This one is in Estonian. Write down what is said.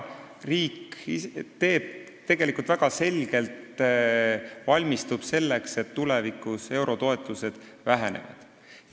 Riik tegelikult väga selgelt valmistub selleks, et tulevikus eurotoetused vähenevad.